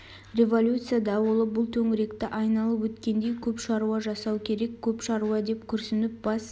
революция дауылы бұл төңіректі айналып өткендей көп шаруа жасау керек көп шаруа деп күрсініп бас